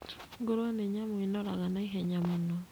Ngũrũe nĩ nyamũ ĩnoraga naihenya mũno